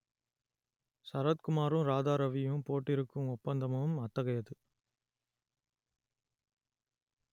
சரத்குமாரும் ராதாரவியும் போட்டிருக்கும் ஒப்பந்தமும் அத்தகையது